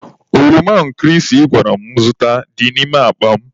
Oroma nkịrịsị ị gwara m zụta dị n'ime akpa m.